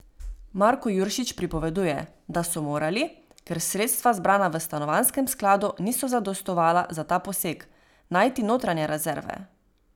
Marko Juršič pripoveduje, da so morali, ker sredstva, zbrana v stanovanjskem skladu, niso zadostovala za ta poseg, najti notranje rezerve.